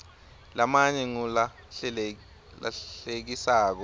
lamanye ngulahlekisako